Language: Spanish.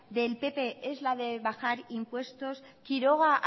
del pp es la del bajar impuestos quiroga